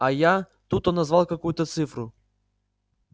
а я тут он назвал какую-то цифру